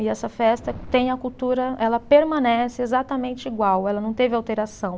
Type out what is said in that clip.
E essa festa tem a cultura, ela permanece exatamente igual, ela não teve alteração.